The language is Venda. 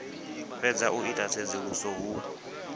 fhedza u ita tsedzuluso hu